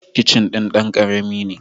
Kicin din dan ƙarami ne.